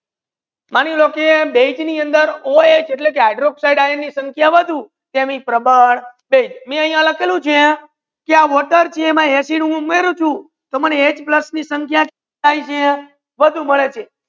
માની લો કે બેઝે ની અંદર ઓ એચ એટલા કે hydroxide ની સાંખ્ય વધુ તેનિ પ્રબલ બેઝ માઇ આમા લાખેલુ છે આ પાણી છે મા એસિડ હુ ઉમારેયુ છ થી એચ પ્લસ ની સાંખ્ય કેતલી થાય છે છે વધુ માડે છે